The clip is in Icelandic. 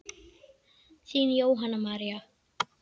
Þín Jóhanna María.